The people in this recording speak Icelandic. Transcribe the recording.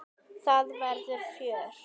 Það verður fjör.